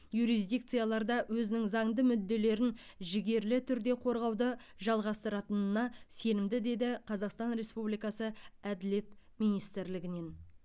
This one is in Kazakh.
юрисдикцияларда өзінің заңды мүдделерін жігерлі түрде қорғауды жалғастыратынына сенімді деді қазақстан республикасы әділет министрлігінен